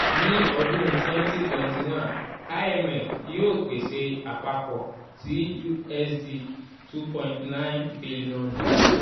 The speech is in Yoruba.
ni ọdun 2021 imf yoo pese apapọ ti usd2.9 bilionu.